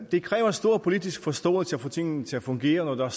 det kræver stor politisk forståelse at få tingene til at fungere når der